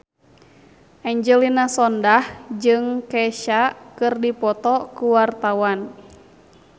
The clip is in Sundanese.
Angelina Sondakh jeung Kesha keur dipoto ku wartawan